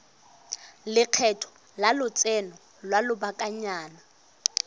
lekgetho la lotseno lwa lobakanyana